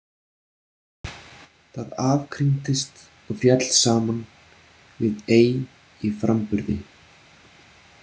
Það afkringdist og féll saman við ei í framburði.